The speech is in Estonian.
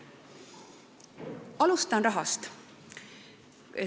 Alustan rahast.